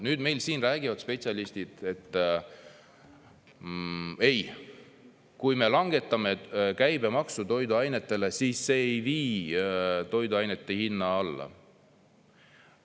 Nüüd meil siin räägivad spetsialistid: "Ei, kui me langetame käibemaksu toiduainetele, siis see ei vii toiduainete hinda alla.